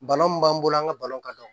Bana mun b'an bolo an ga ka